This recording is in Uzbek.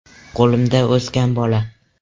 Qo‘limda o‘sgan bola.